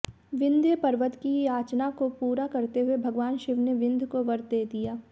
विन्ध्यपर्वत की याचना को पूरा करते हुए भगवान शिव ने विन्ध्य को वर दे दिया